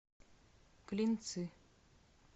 клинцы